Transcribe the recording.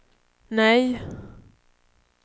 nej